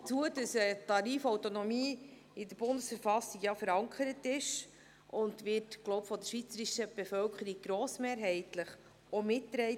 Hinzu kommt, dass die Tarifautonomie in der Bundesverfassung der Schweizerischen Eidgenossenschaft (BV) verankert ist, und diese wird, so glaube ich, von der schweizerischen Bevölkerung grossmehrheitlich auch mitgetragen.